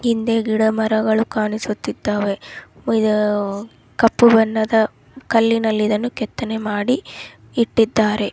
ಹಿಂದೆ ಗಿಡ ಮರಗಳು ಕಾಣಿಸುತ್ತಿದ್ದವೇ ಇದು ಆಹ್ಹ್ ಕಪ್ಪು ಬಣ್ಣದ ಕಲ್ಲಿನಲ್ಲಿ ಇದನ್ನು ಕೆತ್ತನೆ ಮಾಡಿ ಇಟ್ಟಿದ್ದಾರೆ .